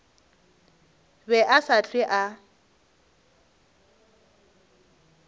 be a sa hlwe a